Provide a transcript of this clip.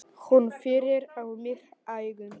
Hún pírir á mig augun.